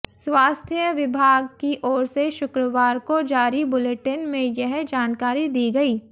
स्वास्थ्य विभाग की ओर से शुक्रवार को जारी बुलेटिन में यह जानकारी दी गई